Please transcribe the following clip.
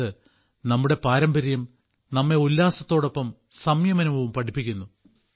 അതായത് നമ്മുടെ പാരമ്പര്യം നമ്മെ ഉല്ലാസത്തോടൊപ്പം സംയമനവും പഠിപ്പിക്കുന്നു